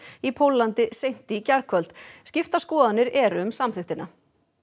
í Póllandi seint í gærkvöld skiptar skoðanir eru um samþykktina